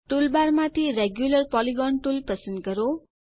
toolbar માંથી regular polygon tool પસંદ કરો